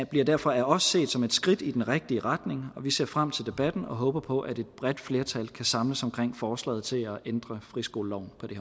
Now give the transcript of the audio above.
bliver derfor af os set som et skridt i den rigtige retning vi ser frem til debatten og håber på at et bredt flertal kan samles omkring forslaget til at ændre friskoleloven på det